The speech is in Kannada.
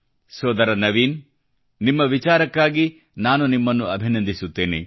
ಸೋದರ ನವೀನ್ ನಿಮ್ಮ ವಿಚಾರಕ್ಕಾಗಿ ನಾನು ನಿಮಗೆ ಅಭಿನಂದಿಸುತ್ತೇನೆ